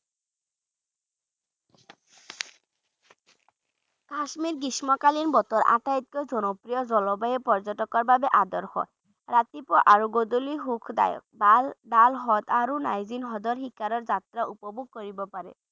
কাশ্মীৰ গ্ৰীষ্মকালীন বতৰ আটাইতকৈ জনপ্ৰিয় জলবায়ু পৰ্য্যটকৰ বাবে আদৰ্শ ৰাতিপুৱা আৰু গধূলি সুখদায়ক। ~দাল দাল হ্ৰদ আৰু নাইজিন হ্ৰদৰ শিকাৰৰ যাত্ৰা উপভোগ কৰিব পাৰি।